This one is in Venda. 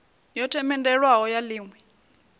yo themendelwaho ya ḽi ṅwe